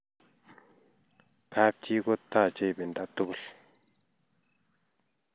kap chii ko rache ipinda tugul